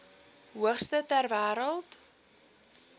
hoogste ter wêreld